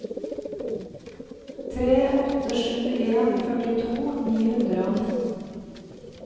tre åtte sju en førtito ni hundre og nitten